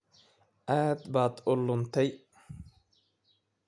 Aad baad u luntay